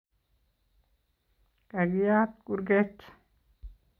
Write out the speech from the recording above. Kagiyat kurget